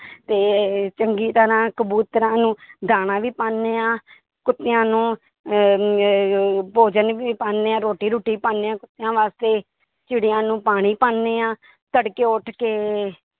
ਤੇ ਚੰਗੀ ਤਰ੍ਹਾਂ ਕਬੂਤਰਾਂ ਨੂੰ ਦਾਣਾ ਵੀ ਪਾਉਂਦੇ ਹਾਂ ਕੁਤਿਆਂ ਨੂੰ ਅਹ ਅਹ ਭੋਜਨ ਵੀ ਪਾਉਂਦੇ ਹਾਂ ਰੋਟੀ ਰੂਟੀ ਪਾਉਂਦੇ ਹਾਂ ਕੁੱਤਿਆਂ ਵਾਸਤੇ ਚਿੱੜੀਆਂ ਨੂੰ ਪਾਣੀ ਪਾਉਂਦੇ ਹਾਂ ਤੜਕੇ ਉੱਠ ਕੇ